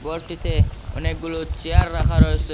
গরটিতে অনেকগুলি চেয়ার রাখা রয়েসে।